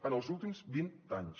en els últims vint anys